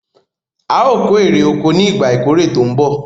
Aò kó ère oko ni "ìgbà ìkórè tòun bọ̀".